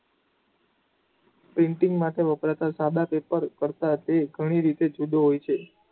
Printing માટે વપરાતા સાદા પેપર તે ઘણી રીતે જુદો હોય છે.